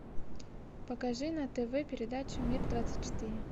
покажи на тв передачу мир двадцать четыре